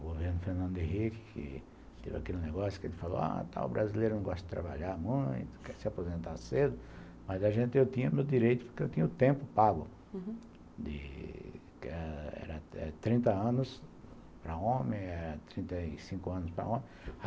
governo Fernando Henrique, que teve aquele negócio que ele falou, ah, tá, o brasileiro não gosta de trabalhar muito, quer se aposentar cedo, mas a gente, eu tinha meu direito porque eu tinha o tempo pago, que era trinta anos para homem, trinta e cinco anos para homem.